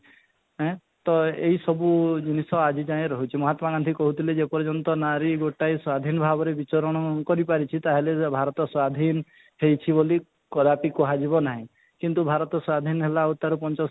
ଏଁ ତ ଏଇ ସବୁ ଜିନିଷ ଆଜି ଯାଏ ରହିଛି ମହାତ୍ମା ଗାନ୍ଧୀ କହୁଥିଲେ ଯେ ପର୍ଯ୍ୟନ୍ତ ନାରୀ ଗୋଟାଏ ସ୍ୱାଧୀନ ଭାବରେ ବିଚରଣ କରି ପାରିଛି ତାହେଲେ ଭାରତ ସ୍ୱାଧୀନ ହେଇଛି ବୋଲି କଦାପି କୁହ ଯିବା ନାହିଁ କିନ୍ତୁ ଭାରତ ସ୍ୱାଧୀନ ହେଲା ତା'ର ପଞ୍ଚ